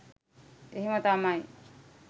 එහෙම තමයි.